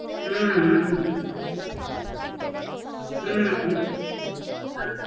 ஹம் ஆஹ்